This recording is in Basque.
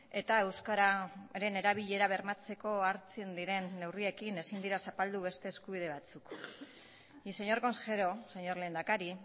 eta euskararen erabilera bermatzeko hartzen diren neurriekin ezin dira zapaldu beste eskubide batzuk y señor consejero señor lehendakari